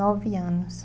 Nove anos.